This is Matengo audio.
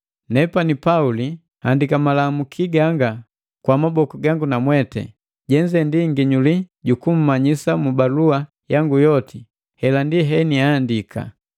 Nepani Pauli, nihandika malamuki ganga kwa maboku gangu namweti. Jenze ndi nginyuli ju kummanyisa mu balua yangu yoti, hela ndi heniandika.